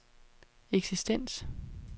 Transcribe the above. eksistens